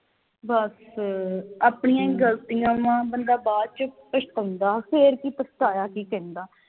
ਬਸ ਆਪਣੀਆਂ ਈ ਗਲਤੀਆਂ ਵਾ ਬੰਦਾ ਬਾਅਦ ਵਿਚ ਪਛਤਾਉਂਦਾ ਫਿਰ ਕਿ ਪਛਤਾਇਆ ਕੀ ਕਹਿੰਦਾ